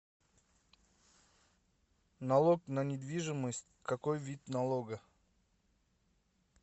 налог на недвижимость какой вид налога